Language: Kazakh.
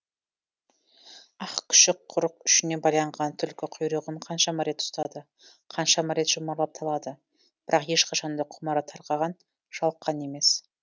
ақ күшік құрық ұшына байланған түлкі құйрығын қаншама рет ұстады қаншама рет жұмарлап талады бірақ ешқашан да құмары тарқаған жалыққан емес